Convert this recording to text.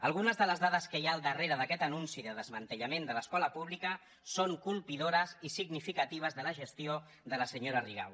algunes de les dades que hi ha al darrere d’aquest anunci de desmantellament de l’escola pública són colpidores i significatives de la gestió de la senyora rigau